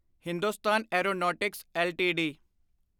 Hindustan aeronautics LTD